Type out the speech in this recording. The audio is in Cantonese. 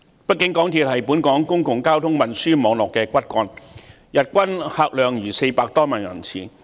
畢竟，港鐵是本港公共交通運輸網絡的骨幹，日均客量達400多萬人次。